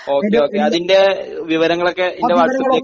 Okay അതിൻറെ വിവരങ്ങളൊക്കെ എൻറെ വാട്സ്ആപ്പിലേക്ക് ഷെയർ ചെയ്യാമോ?